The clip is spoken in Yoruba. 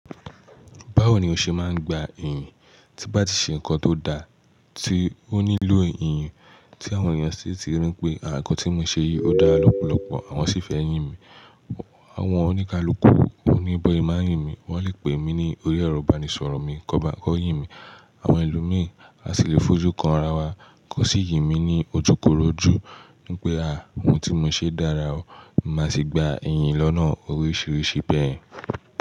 Báwo ni o ṣe máa ń gba ìyìn? Tí bá ti ṣe nǹkan tó dáa, tí ó nílò ìyìn, tí àwọn èèyàn sì ti rí pé, àwọn nǹkan tí mo ṣe yìí ó dára lọ́pọ̀lọpọ̀, àwọn sì fẹ́ yìn mi, àwọn oníkálukú wọ́n ní bó ẹ má yìn mi, wọ́n lè pè mí ní orí ẹrọ̀ ìbánisọ̀rọ̀ mi, kọ́ bá a kọ yìn mi. Àwọn ẹlòmíràn á sì lè fojú kan ara wa, kọ́ sì yìn mí ní ojúkorojú wípé, à, ohun tí mo ṣe dára o, màá sì gba ìyìn lọ́nà oríṣiríṣi bẹ́ẹ̀.